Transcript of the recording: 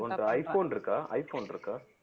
உன்ட்ட iphone இருக்கா iphone இருக்கா